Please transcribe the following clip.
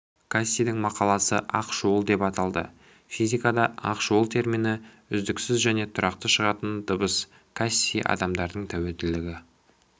кассидің мақаласы ақ шуылдеп аталды физикада ақ шуыл термині үздіксіз және тұрақты шығатын дыбыс касси адамдардың тәуелділігі